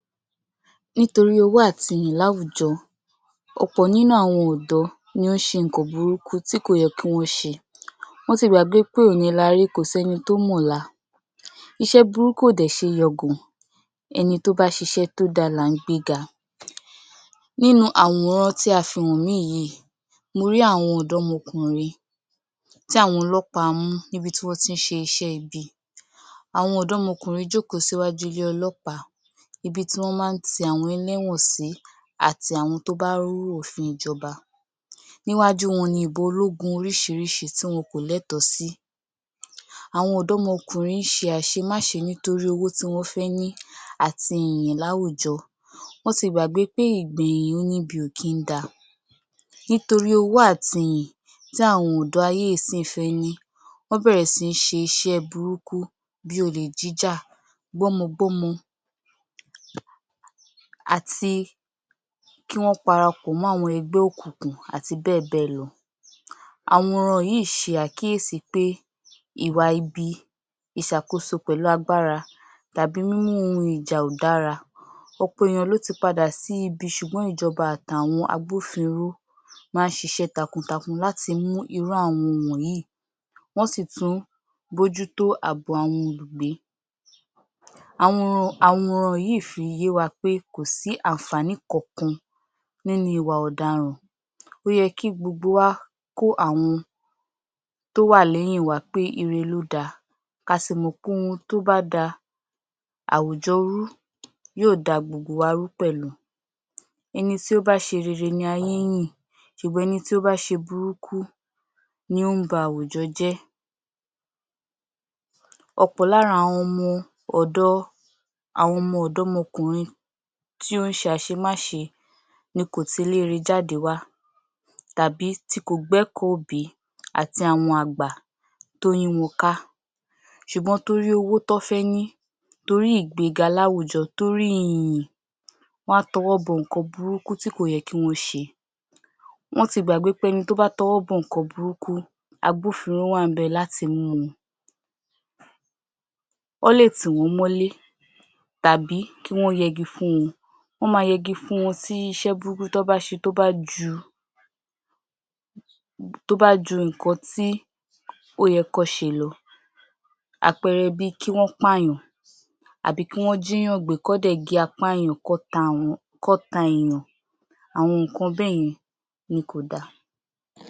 Nítorí owó àti ìyìn láwùjọ, ọ̀pọ̀ nínú àwọn ọ̀dọ́ ni ó ń ṣe nǹkan burúkú tí kò yẹ kí wọn ṣe, wọ́n ti gbàgbé pé òní là rí kò sẹ́ni tó mọ̀la, iṣẹ́ burúkú ò dẹ̀ ṣe é yangà, ẹni tó bá ṣíṣe tó dá là ń gbé ga, Nínú àwòrán tí a fi hàn mí yìí, mo rí àwọn ọ̀dọ́mọkùnrin tí àwọn ọlọ́pàá mú níbi tí wọ́n ti ṣe iṣẹ́ ibi, àwọn ọ̀dọ́mọkùnrin jókòó síwájú ilé ọlọ́pàá íbi tí wọ́n máa ń ti àwọn ẹlẹ́wọ̀n sí, àti àwọn tó bá rú òfin ìjọba. Níwájú wọn ni ìbọn ológun oríṣiríṣi tí wọn kò létọ̀ọ́ sí. Àwọn ọ̀dọ́mọkùnrin ṣe àṣemáṣe nítorí owó tí wọ́n fẹ́ ní àti ìyìn láwùjọ, wón ti gbàgbé pé ìgbẹ̀yìn oníbi ò kí ń da. Nítorí owó àti ìyìn tí àwọn ọ̀dọ́ ayé ìsín fẹ́ ní wọ́n bẹ̀rẹ̀ síí ṣe iṣẹ́ burúkú, bí olè jíjà, gbọ́mọgbọ́mọ àti kí wọ́n parapọ̀ mọ́ àwọn ẹgbẹ́ òkùnkùn àti bẹ́ẹ̀ bẹ́ẹ̀ lọ. Àwòrán yìí ṣe àkíyèsí pé Ìwà ibi, ìṣàkóso pẹ̀lú agbára tàbí mímú ohun ìjà ò dára, ọ̀pọ̀ ènìyàn lọ́ ti padà sí ibi ṣùgbọ́n ìjọba àti àwọn agbófinró máa ń ṣíṣe takuntakun láti mú irú àwọn wọ̀nyí, wọ́n sì tún ń bójútó àbọ̀ àwọn olùgbé. Àwòrán yìí fi yẹ́ wa pé kò sí àǹfàní kankan nínú ìwà ọ̀daràn, ó yẹ kí gbogbo wa kó àwọn tó wà lẹ́yìn wa pé irẹ lo dá, ká sì mọ pé ohun tó bá da àwùjọ rú yóò dá gbogbo wa rú pẹ̀lú, ẹni tí ó bá ṣe rere ni ayé ń yìn, ṣùgbọ́n ẹni tó bá ṣe burúkú ni ó ń bá àwùjọ jẹ́. Ọ̀pọ̀ lára àwọn ọ̀dọ́ àwọn ọmọ ọ̀dọ́mọkùnrin tí ó ń ṣe àṣemáṣe ni kò tiléerẹ jáde wá, tàbí tí kò gbékọ̀ọ́ òbí àti àwọn àgbà tó yí wọn ká, ṣùgbọ́n torí owó tán fẹ́ ní, torí ìgbéga láwùjo, torí ìyìn, wọn á tọwọ́ bọ nǹkan burúkú tí kò yẹ kí wọ́n ṣe. Wọ́n ti gbàgbé pé ẹni tó bá tọwọ́ bọ nǹkan burúkú, agbófinró wà ńbẹ̀ láti mú un. Wọ́n lè tí wọ́n mọ́lé, tàbí kí wọ́n yẹgi fún wọn, wọ́n máa yẹgi fún wọn tí iṣẹ́ burúkú tán bá ṣe tó bá ju tó bá ju nǹkan ti ó yẹ kan ṣe ló, àpẹẹrẹ bíi kí wọ́n pàyàn, àbí kí wọ́n jíyàn gbé, kán dẹ̀ gé apá èèyàn kán ta àwọn, kán ta èèyàn. Àwọn nǹkan bẹ́yen ni kò da.